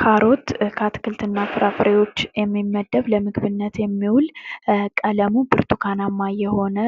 ካሮት ከአትክልት እና ፍራፍሬዎች የሚመደብ ለምግብነት የሚዉል ቀለሙ ብርቱካናማ የሆነ